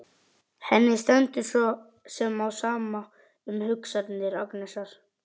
Henni stendur svo sem á sama um hugsanir Agnesar.